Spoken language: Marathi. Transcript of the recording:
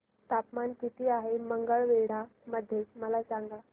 तापमान किती आहे मंगळवेढा मध्ये मला सांगा